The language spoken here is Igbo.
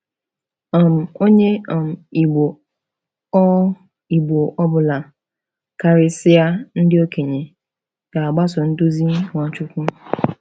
um Onye um Igbo ọ Igbo ọ bụla—karịsịa ndị okenye—ga-agbaso nduzi Nwachukwu.